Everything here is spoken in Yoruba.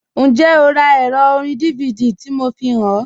Njẹ́, ọ rá èrò òrìn DVD tí mò fíhàn ọ?